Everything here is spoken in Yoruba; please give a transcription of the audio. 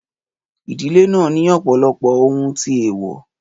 Ìdílé náà ní ọ̀pọ̀lọpọ̀ ohun tí eewo